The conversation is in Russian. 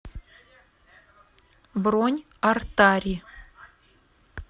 бронь артари